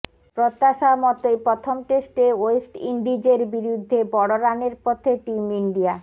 প্রত্যাশামতোই প্রথম টেস্টে ওয়েস্ট ইন্ডিজের বিরুদ্ধে বড় রানের পথে টিম ইন্ডিয়া